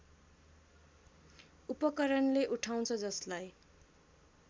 उपकरणले उठाउँछ जसलाई